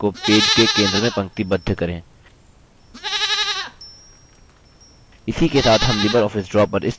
फिर align toolbar का उपयोग करें और objects को पेज के centre में पंक्तिबद्ध करें